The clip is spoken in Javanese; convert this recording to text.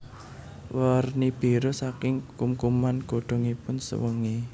Werni biru saking kumkuman godhongipun sewengi